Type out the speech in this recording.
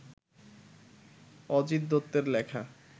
অজিত দত্তের লেখা